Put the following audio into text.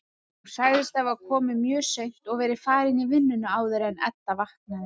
Hún sagðist hafa komið mjög seint og verið farin í vinnuna áður en Edda vaknaði.